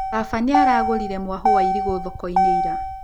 Baba nĩaragũrire mwahũ wa irigũ thoko-inĩ ira